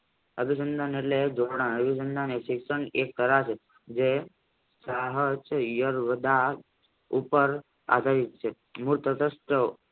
અભિસંદન એટલે શિક્ષણ એક પરાગે ઉપર આધારિત છે મૂળ તટસ્થ